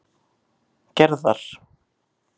Gerðar